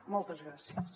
moltes gràcies